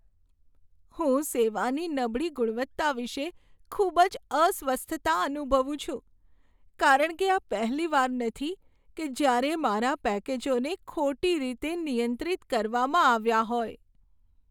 હું સેવાની નબળી ગુણવત્તા વિશે ખૂબ જ અસ્વસ્થતા અનુભવું છું, કારણ કે આ પહેલીવાર નથી કે જ્યારે મારા પેકેજોને ખોટી રીતે નિયંત્રિત કરવામાં આવ્યાં હોય.